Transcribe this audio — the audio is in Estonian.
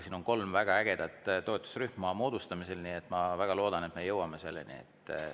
Siin on kolm väga ägedat toetusrühma moodustamisel, nii et ma väga loodan, et me jõuame selleni.